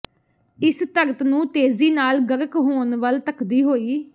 ਇਸ ਧਰਤ ਨੂੰ ਤੇਜ਼ੀ ਨਾਲ ਗਰਕ ਹੋਣ ਵੱਲ ਧੱਕਦੀ ਹੋਈ